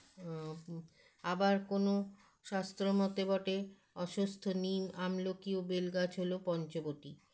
আ আবার কোনো শাস্ত্র মতে বটে অস্বস্থ নিম আমলকি ও বেল গাছ হলো পঞ্চবটী